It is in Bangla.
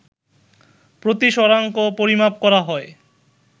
প্রতিসরাংক পরিমাপ করা হয়